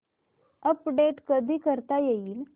update कधी करता येईल